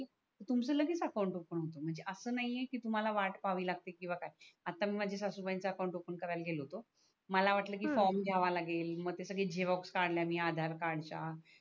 तुमच लगेच account open होतो म्हणजे अस नाही आहे की तुम्हाला वाट पाहावी लागते किवा काय आता मी माझ्या सासूबाईच अकाउंट ओफन करायला गेलो होतो मला वाटल की फॉर्म घायाव्या लागेल हम्म म्हटल सगडी झेरॉक्स कडल्या आधार कार्डच्या